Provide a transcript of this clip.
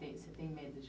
tem, você tem medo de